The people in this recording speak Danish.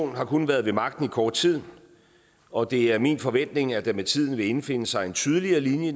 har kun været ved magten i kort tid og det er min forventning at der med tiden vil indfinde sig en tydeligere linje